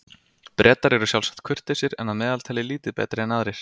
Bretar eru sjálfsagt kurteisir en að meðaltali lítið betri en aðrir.